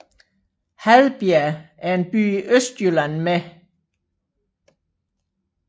Hadbjerg er en by i Østjylland med